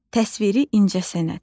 Təsviri incəsənət.